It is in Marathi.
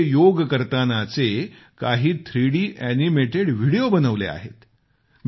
माझे योग करतानाचे काही थ्रीडी ऍनिमेटेड व्हिडिओ बनवले आहेत